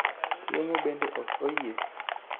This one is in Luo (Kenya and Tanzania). yeng'o bende ok oyie